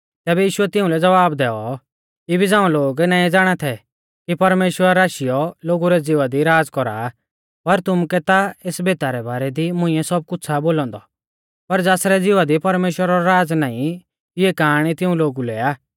तैबै यीशुऐ तिउंलै ज़वाब दैऔ इबी झ़ांऊ लोग नाईं ज़ाणा थै कि परमेश्‍वर आशीयौ लोगु रै ज़िवा दी राज़ कौरा आ पर तुमुकै ता एस भेता रै बारै दी मुंइऐ सब कुछ़ आ बोलौ औन्दौ पर ज़ासरै ज़िवा दी परमेश्‍वरा रौ राज़ नाईं इऐ काआणी तिऊं लोगु लै आ